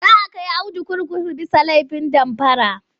Za kai Audu kurkuku bisa laifin damfara..